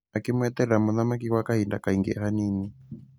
Akĩmweterera mũthamaki gwa kahinda kaingĩ hanini.